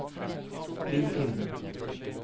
Lim inn